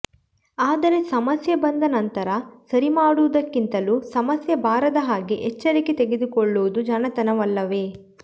ಆದರೆ ಸಮಸ್ಯೆ ಬಂದ ನಂತರ ಸರಿಮಾಡುವದಕ್ಕಿಂತಲೂ ಸಮಸ್ಯೆ ಬಾರದ ಹಾಗೆ ಎಚ್ಚರಿಕೆ ತೆಗೆದುಕೊಳ್ಳುವುದು ಜಾಣತನವಲ್ಲವೆ